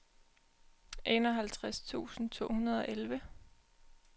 enoghalvtreds tusind to hundrede og elleve